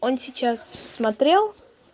он сейчас смотрел